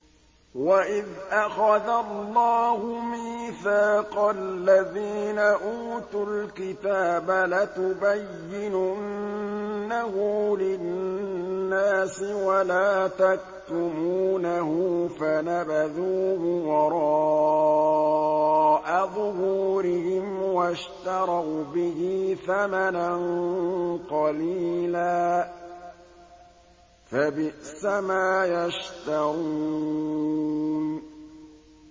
وَإِذْ أَخَذَ اللَّهُ مِيثَاقَ الَّذِينَ أُوتُوا الْكِتَابَ لَتُبَيِّنُنَّهُ لِلنَّاسِ وَلَا تَكْتُمُونَهُ فَنَبَذُوهُ وَرَاءَ ظُهُورِهِمْ وَاشْتَرَوْا بِهِ ثَمَنًا قَلِيلًا ۖ فَبِئْسَ مَا يَشْتَرُونَ